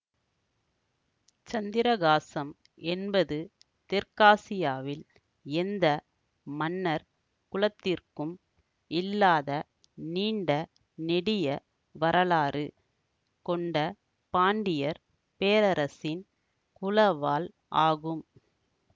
சந்திரஹாசம் என்பது தெற்காசியாவில் எந்த மன்னர் குலத்திற்கும் இல்லாத நீண்ட நெடிய வரலாறு கொண்ட பாண்டியர் பேரரசின் குலவாள் ஆகும்